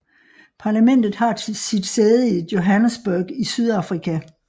Parlamentet har sit sæde i Johannesburg i Sydafrika